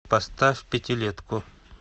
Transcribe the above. поставь пятилетку